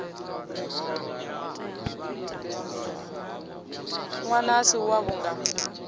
ṅwana a si wavho nga